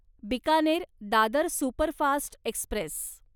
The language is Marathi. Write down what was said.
Bikaner Dadar superfast Express